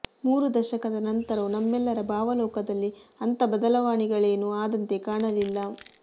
ಮೂರು ದಶಕದ ನಂತರವೂ ನಮ್ಮೆಲ್ಲರ ಭಾವಲೋಕದಲ್ಲಿ ಅಂಥ ಬದಲಾವಣೆಗಳೇನು ಆದಂತೆ ಕಾಣಲಿಲ್ಲ